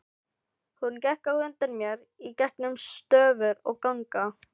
Hún gekk á undan mér í gegnum stofur og ganga.